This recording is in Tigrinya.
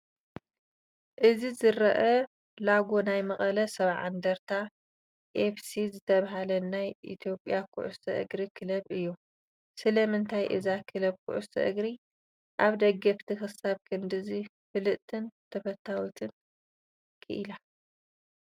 እቲ ዝራኣይ ሎጎ ናይ መቐለ 70 እንደርታ FC ዝተብሃለ ናይ ኢትዮጵያ ኩዕሶ እግሪ ክለብ እዩ። ስለምንታይ እዛ ክለብ ኩዕሶ እግሪ ኣብ ደገፍቲ ክሳብ ክንድዚ ፍልጥትን ተፈታዊትን ኪኢላ?